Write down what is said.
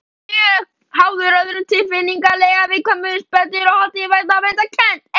Hann væri mjög háður öðrum tilfinningalega, viðkvæmur, spenntur og haldinn vanmetakennd.